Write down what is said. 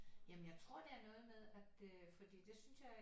Jamen jeg tror det er noget med at øh fordi det synes jeg